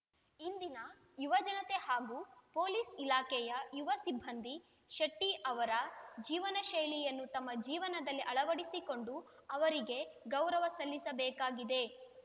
ಇಂದಿನ ಯುವಜನತೆ ಹಾಗೂ ಪೊಲೀಸ್‌ ಇಲಾಖೆಯ ಯುವ ಸಿಬ್ಬಂದಿ ಶೆಟ್ಟಿಅವರ ಜೀವನಶೈಲಿಯನ್ನು ತಮ್ಮ ಜೀವನದಲ್ಲಿ ಅಳವಡಿಸಿಕೊಂಡು ಅವರಿಗೆ ಗೌರವ ಸಲ್ಲಿಸಬೇಕಾಗಿದೆ